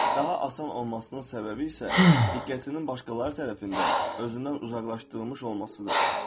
Daha asan olmasının səbəbi isə diqqətinin başqaları tərəfindən özündən uzaqlaşdırılmış olmasıdır.